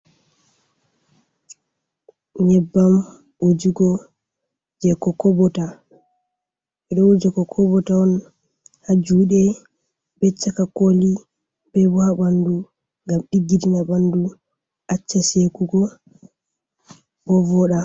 Nyebbam wujugo je kokobota ɓe ɗo wuja kokobota on ha juɗe be caka koli bebo ha bandu gam ɗiggitina bɓandu acca sekugo bo voda.